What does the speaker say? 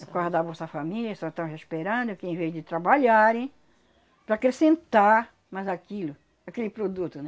Por causa da Bolsa Família, só estão esperando que em vez de trabalharem, para acrescentar mais aquilo, mais aquele produto, né?